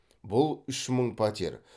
бұл үш мың пәтер